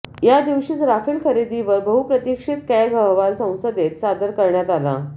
या दिवशीच राफेल खरेदीवर बहुप्रतिक्षित कॅग अहवाल संसदेत सादर करण्यात आला